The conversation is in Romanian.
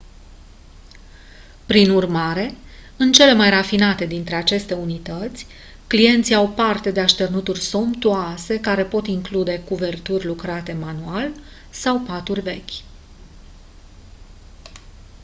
prin urmare în cele mai rafinate dintre aceste unități clienții au parte de așternuturi somptuoase care pot include cuverturi lucrate manual sau paturi vechi